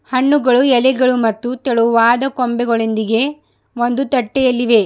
ಹಣ್ಣುಗಳು ಎಲೆಗಳು ಮತ್ತು ತೆಳುವಾದ ಕೊಂಬೆಗಳೊಂದಿಗೆ ಒಂದು ತಟ್ಟಿಯಲ್ಲಿವೆ.